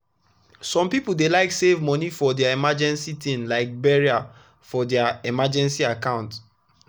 some people dey like save money for emergency thing like burial for their emergency account